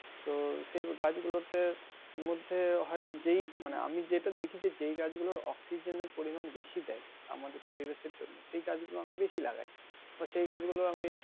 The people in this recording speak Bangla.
তো সেই গাছ গুলোতে মধ্যে হয় যে মানে আমি যেটা দেখি যে, যেই গাছ গুলোর অক্সিজেনের পরিমান বেশি দেয় আমাদের পরিবেশের জন্য এবং আমি বেশি লাগাই বা সে গাছগুলো